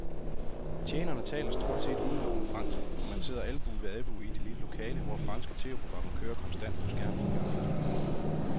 Tjenerne taler stort set udelukkende fransk, og man sidder albue ved albue i det lille lokale, hvor franske tv-programmer kører konstant på skærmen i hjørnet.